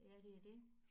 Ja det er det